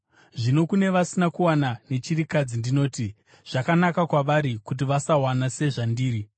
Zvino kune vasina kuwana nechirikadzi ndinoti: Zvakanaka kwavari kuti vasawana, sezvandiri.